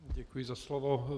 Děkuji za slovo.